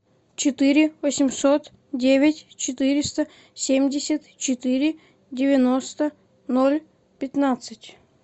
четыре восемьсот девять четыреста семьдесят четыре девяносто ноль пятнадцать